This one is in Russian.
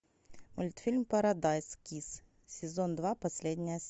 мультфильм парадайз кисс сезон два последняя